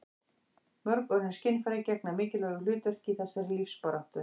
mörg önnur skynfæri gegna mikilvægu hlutverki í þessari lífsbaráttu